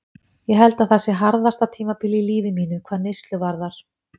Ég held að það sé harðasta tímabilið í lífi mínu, hvað neyslu varðar.